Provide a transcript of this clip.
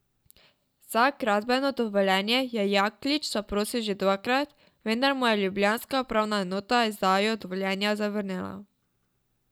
Za gradbeno dovoljenje je Jaklič zaprosil že dvakrat, vendar mu je ljubljanska upravna enota izdajo dovoljenja zavrnila.